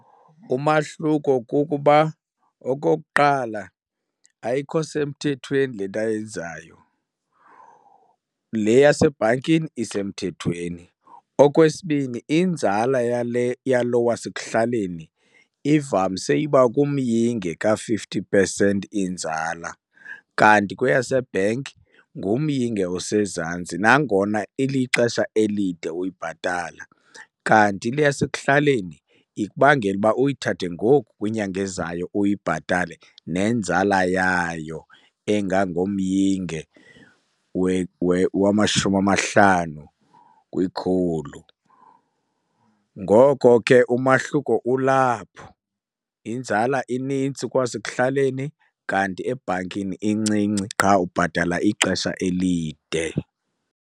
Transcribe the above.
Umahluko kukuba okokuqala, ayikho semthethweni le nto ayenzayo, le yasebhankini isemthethweni. Okwesibini inzala yale yalo wasekuhlaleni ivamise uba kumyinge ka-fifty percent inzala, kanti kweyasebhenki ngumyinge osezantsi nangona ilixesha elide uyibhatala. Kanti le yasekuhlaleni ikubangela uba uyithathe ngoku, kwinyanga ezayo uyibhatale nenzala yayo engangomyinge wamashumi amahlanu kwikhulu. Ngoko ke umahluko kulapho, inzala inintsi kowasekuhlaleni kanti ebhankini incinci qha ubhatala ixesha elide.